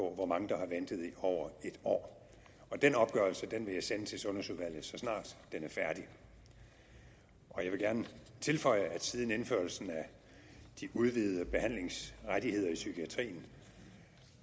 hvor mange der har ventet i over en år den opgørelse vil jeg sende til sundhedsudvalget så snart den er færdig jeg vil gerne tilføje at siden indførelsen af de udvidede behandlingsrettigheder i psykiatrien